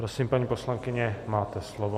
Prosím, paní poslankyně, máte slovo.